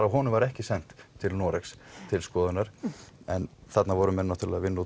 af honum var ekki sent til Noregs til skoðunar en þarna voru menn náttúrulega að vinna